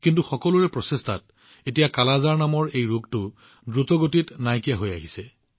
কিন্তু সকলোৰে প্ৰচেষ্টাত এতিয়া কালা আজাৰ নামৰ এই ৰোগটো দ্ৰুতগতিত নিৰ্মূল হৈ আহিছে